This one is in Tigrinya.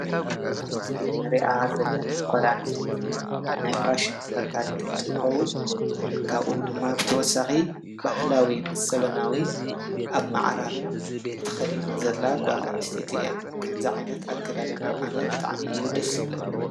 ብ ምስል አኒረኣ ዘለና ጓል ኣኒስተይት ናይ ኩዕሶ ተፈታኒት አኒትትኮዉኒካቡእ ዲማ ብተወሳክ ብሃላዊ ምስ ዘበናዊ ኣብ ማዓራርያ ተከዲና ዘላጓል ኣኒስትይትእይ፡፡ አይ፡፡ ከምዚ ዓይነት ብጣዕሚ እዩ ደስ ዘብለነ፡፡